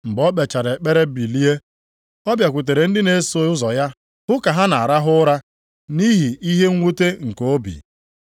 Mgbe o kpechara ekpere bilie, ọ bịakwutere ndị na-eso ụzọ ya hụ ha ka ha na-arahụ ụra nʼihi ihe mwute nke obi.